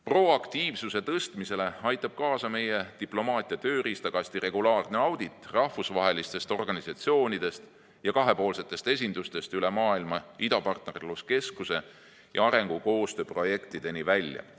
Proaktiivsuse tõstmisele aitab kaasa meie diplomaatia tööriistakasti regulaarne audit rahvusvahelistest organisatsioonidest ja kahepoolsetest esindustest üle maailma idapartnerluskeskuse ja arengukoostöö projektideni välja.